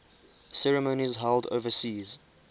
ceremonies held overseas